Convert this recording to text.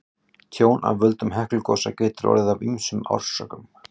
Tjón af völdum Heklugosa getur orðið af ýmsum orsökum.